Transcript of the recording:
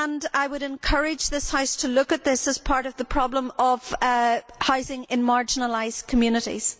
I would encourage this House to look at this as part of the problem of housing in marginalised communities.